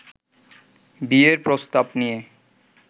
বিয়ের প্রস্তাব নিয়ে